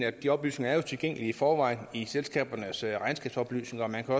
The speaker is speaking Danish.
at de oplysninger er tilgængelige i forvejen i selskabernes regnskabsoplysninger og man kan